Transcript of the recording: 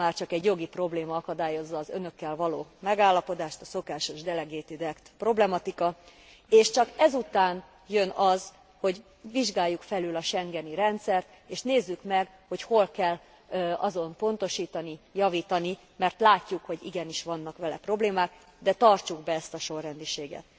Már csak egy jogi probléma akadályozza az Önökkel való megállapodást a szokásos delegated act problematika, és csak ezután jön az, hogy vizsgáljuk fölül a schengeni rendszert, és nézzük meg, hogy hol kell azon pontosítani, javítani, mert látjuk, hogy igenis vannak vele problémák, de tartsuk be ezt a sorrendiséget.